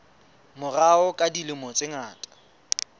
morao ka dilemo tse ngata